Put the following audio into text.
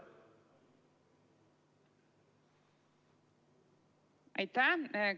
Aitäh!